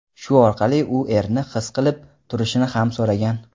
shu orqali u erini his qilib turishini ham so‘ragan.